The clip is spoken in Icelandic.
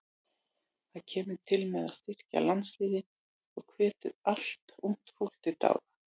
Það kemur til með að styrkja landsliðin og hvetur annað ungt fólk til dáða.